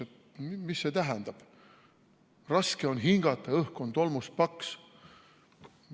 Et mis see tähendab, raske on hingata, õhk on tolmust paks.